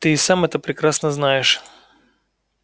ты и сам это прекрасно знаешь